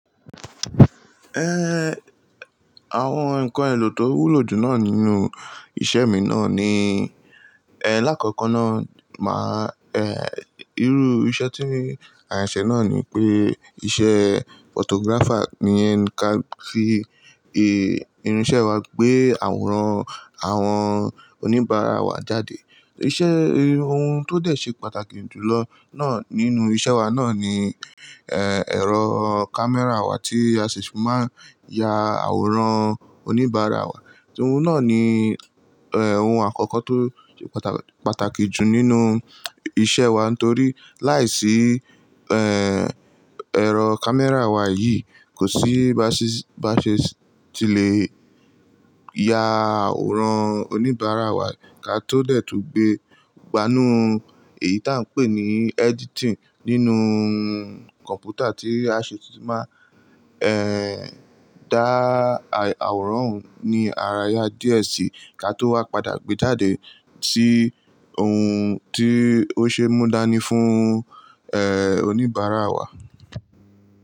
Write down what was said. Ẹẹ, àwọn ǹkan èlò tó wúlò jù náà nínú iṣẹ́ mi náà ni, ẹ làkọ́kọ́ na máa, ẹ, irú iṣẹ́ tí à nṣẹ náà ni pé iṣẹ́ photographer ni ẹni kan fi, e, irinṣẹ́ wa gbé àwòrán àwọn oníbàárà wa jáde. Ìṣe, ohun tó dẹ̀ ṣe pàtàkì jùlọ náà nínú iṣẹ́ wa náà ni, ẹ, ẹ̀rọ camera wa tí a sì fi máa ń ya àwòrán oníbàárà wa. Òun náà ni, ẹ, ohun àkọ́kọ́ tó ṣe pàtàkì jù nínú iṣẹ́ wa nítorí láìsí, ẹ, ẹ̀rọ camera wa yìí kò sí baṣí, baṣe tí lè ya àwòrán oníbàárà wa ká tó dẹ̀ tú gbé gbánú èyí tí à ń pè ní editing nínú kọ̀ǹpútà tí a sì ti máa, ẹ, dá àwòrán òun ní àrà ya díẹ̀ síí ká tó wá padà gbé jáde sí ohun tí ó ṣe é mú dání fún, ẹ, oníbàárà wa.